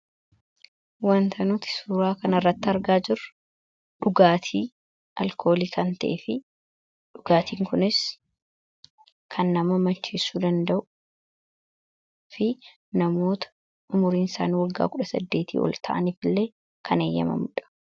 Waanta nuti suuraa kan irratti argaa jiru, dhugaatii alkoolii kan ta'e fi dhugaatiin kunis kan nama macheesu danda'u fi namoota umuriin isaanii waggaa 18 tii ool ta'aniif illee kan eeyyamamudha.